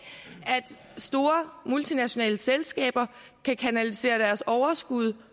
store multinationale selskaber kan kanalisere deres overskud